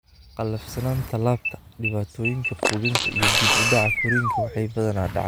Qallafsanaanta laabta, dhibaatooyinka quudinta, iyo dib u dhaca korriinka waxay badanaa dhacaan seded iyo tawan bilood ka hor.